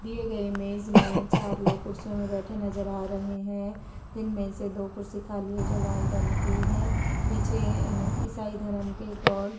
दिए गए इमेज में चार लोग कुर्सियों में बैठे नजर आ रहे हैं जिनमें से दो कुर्सी खाली है जो लाल रंग की है पीछे ईसाई धरम के गॉड --